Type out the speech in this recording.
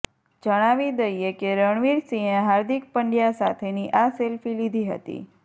જણાવી દઈએ કે રણવિર સિંહે હાર્દિક પંડ્યા સાથેની આ સેલ્ફી લીધી હતી